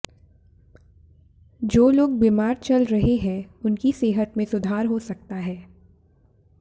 जो लोग बीमार चल रहे हैं उनकी सेहत में सुधार हो सकता है